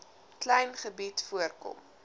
klein gebied voorkom